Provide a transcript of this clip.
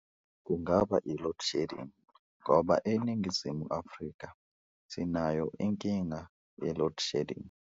Kungaba i-loadshedding ngoba eNingizimu Afrika sinayo inkinga ye-load shedding.